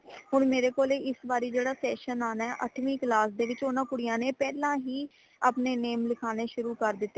ਹੁਣ ਮੇਰੇ ਕੋਲ ਇਸ ਵਾਰੀ ਜੇੜਾ session ਆਣਾ ਹੈ ਅੱਠਵੀ class ਦੇ ਵਿੱਚ ਊਨਾ ਕੁੜੀਆਂ ਨੇ ਪਹਿਲਾਂ ਹੀ ਆਪਣੇ name ਲਿਖਾਣੇ ਸ਼ੁਰੂ ਕਰ ਦਿਤੇ ਨੇ